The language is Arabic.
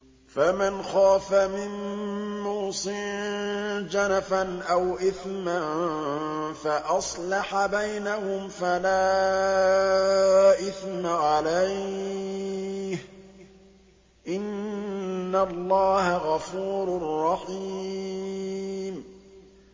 فَمَنْ خَافَ مِن مُّوصٍ جَنَفًا أَوْ إِثْمًا فَأَصْلَحَ بَيْنَهُمْ فَلَا إِثْمَ عَلَيْهِ ۚ إِنَّ اللَّهَ غَفُورٌ رَّحِيمٌ